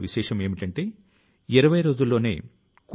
అప్పుడే దేశం స్వయంసమృద్ధి ని సాధిస్తుంది